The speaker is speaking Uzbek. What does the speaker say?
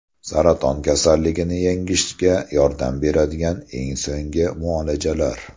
Saraton kasalligini yengishga yordam beradigan eng so‘nggi muolajalar.